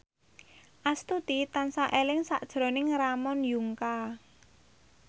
Astuti tansah eling sakjroning Ramon Yungka